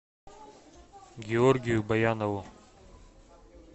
георгию баянову